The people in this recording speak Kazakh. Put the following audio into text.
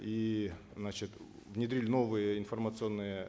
и значит внедрили новые информационные